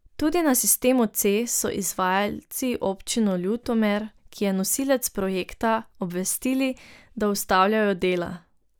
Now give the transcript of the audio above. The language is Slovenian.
Tudi na sistemu C so izvajalci občino Ljutomer, ki je nosilec projekta, obvestili, da ustavljajo dela.